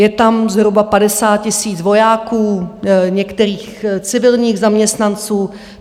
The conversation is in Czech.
Je tam zhruba 50 000 vojáků, některých civilních zaměstnanců.